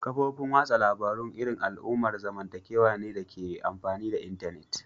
Kafofin wasan labaru irin al'amuran zamantakewa ne dake amfani da intanet.